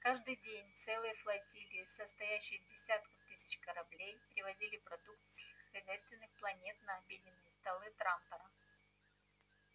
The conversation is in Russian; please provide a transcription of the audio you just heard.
каждый день целые флотилии состоящие из десятков тысяч кораблей привозили продукты с сельскохозяйственных планет на обеденные столы трантора